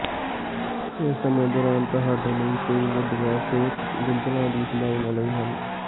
ਇਸ ਸਮੇਂ ਦੌਰਾਨ ਤੁਹਾਡੇ ਲਈ ਕੋਈ ਵੱਡੀਆਂ ਸਿਹਤ ਗੁੰਝਲਾਂ ਦੀ ਸੰਭਾਵਨਾਵਾਂ ਨਹੀਂ ਹਨ